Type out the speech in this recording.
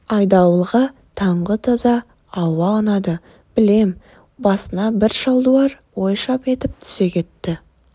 айдауылға таңғы таза ауа ұнады білем басына бір шалдуар ой шап етіп түсе кетті